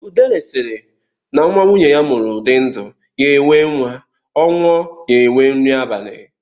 Udele sịrị, na nwa nwunye ya mụrụ di ndụ, ya enwee nwa; Ọ nwụọ, ya enwee nri abali.